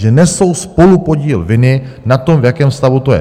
že nesou spolupodíl viny na tom, v jakém stavu to je.